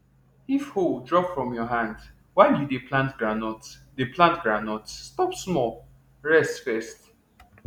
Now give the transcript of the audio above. if hoe drop from your hand while you dey plant groundnut dey plant groundnut stop small rest first